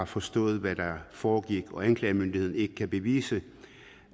forstod hvad der foregik og anklagemyndigheden ikke kan bevise